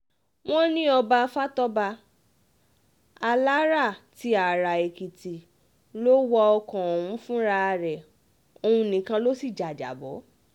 wọ́n ní ọba fatọ́ba alára ti ara-èkìtì ló wa ọkọ̀ ọ̀hún fúnra rẹ̀ òun nìkan ló sì jájábọ́